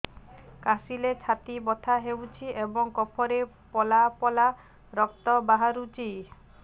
କାଶିଲେ ଛାତି ବଥା ହେଉଛି ଏବଂ କଫରେ ପଳା ପଳା ରକ୍ତ ବାହାରୁଚି